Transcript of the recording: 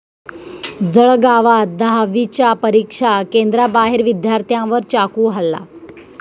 जळगावात दहावीच्या परीक्षा केंद्राबाहेर विद्यार्थ्यांवर चाकू हल्ला